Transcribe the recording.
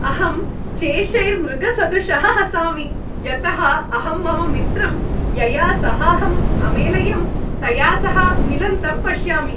अहं चेशैर् मृगसदृशः हसामि, यतः अहं मम मित्रं, यया सहाहं अमेलयम्, तया सह मिलन्तं पश्यामि।